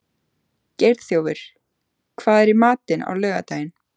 Geirþjófur, hvað er í matinn á laugardaginn?